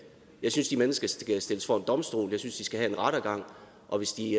jeg synes de mennesker skal stilles for en domstol jeg synes de skal have en rettergang og hvis de